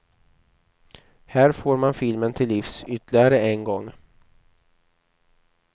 Här får man filmen till livs ytterligare en gång.